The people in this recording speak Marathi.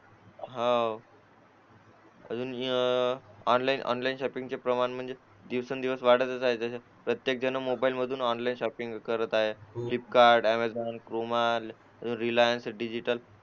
आह अजून ऑनलाईन शॉपिंग चे प्रमाण म्हणजे दिवसेंदिवस वाढतच चालले आहे प्रत्येक जण मधून ऑनलाईन शॉपिंग करत आहे Flipkart Amazon Croma Reliance digital